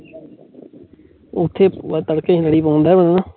ਔਥੇ ਤੜਕੇ ਮੇਰੀ